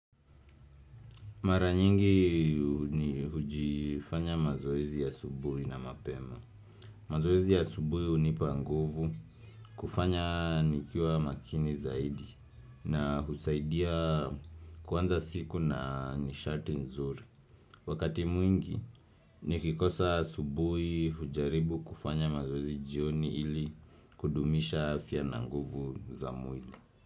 Maranyingi ni hujifanya mazoezi ya asubuhi na mapema. Mazoezi ya asubuhi unipa nguvu kufanya nikiwa makini zaidi na husaidia kuanza siku na nishati nzuri. Wakati mwingi ni kikosa asubuhi hujaribu kufanya mazoezi jioni ili kudumisha afya na nguvu za mwili.